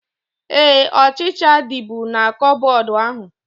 Éè, ọchịchịa dịbu na koboodu ahu